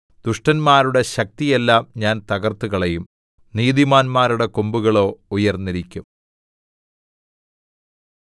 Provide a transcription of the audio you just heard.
ദുഷ്ടന്മാരുടെ ശക്തിയെല്ലാം ഞാൻ തകര്‍ത്തുകളയും നീതിമാന്മാരുടെ കൊമ്പുകളോ ഉയർന്നിരിക്കും